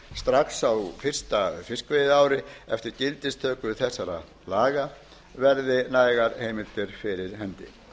strax á fyrsta fiskveiðiári eftir gildistöku þessara laga verði nægar heimildir fyrir hendi